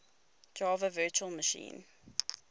java virtual machine